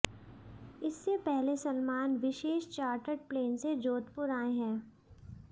इससे पहले सलमान विशेष चार्टर्ड प्लेन से जोधुपर आए हैं